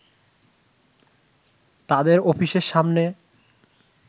তাদের অফিসের সামনে